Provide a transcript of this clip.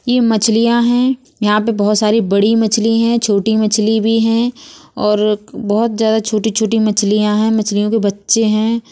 ये मछलियाँ हैं। यहाँ पे बहोत सारी बड़ी मछली हैं। छोटी मछली भी हैं और बोहोत ज्यादा छोट- छोटी मछलियाँ हैं। मछलियों के बच्चे हैं।